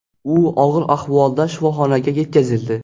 U og‘ir ahvolda shifoxonaga yetkazildi.